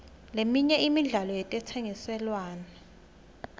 leminye imidlalo yetentsengiselwano